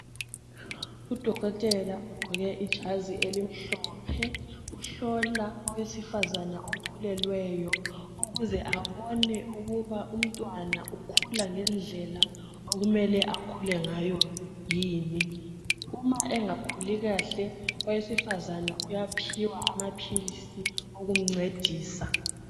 Udokotela ugqoke ijazi elimhlophe uhlola owesifazana okhulelweyo ukuze abone ukuba umntwana ukhula ngendlela okumele akhule ngayo yini. Uma engakhuli kahle owesifazana uyaphiwa amaphilisi okumncedisa.